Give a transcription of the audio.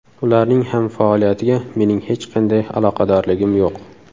Ularning ham faoliyatiga mening hech qanday aloqadorligim yo‘q.